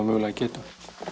getum